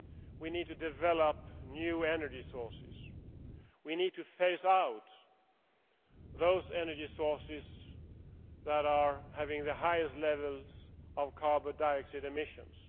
we need to develop new energy sources, and we need to phase out those energy sources that have the highest levels of carbon dioxide emissions.